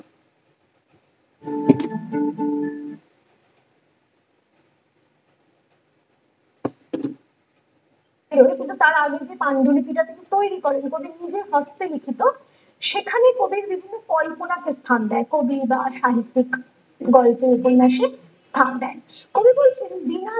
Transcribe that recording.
বের হয় কিন্তু তার আগে যে পান্ডুলিপিটা যে তৈরি করে কবির নিজের হস্তে লিখিত সেখানে কবির বিভিন্ন কল্পনাকে স্থান দেন কবি সাহিত্যিক গল্পের উপন্যাসে স্থান দেন কবি চাইছেন দিনের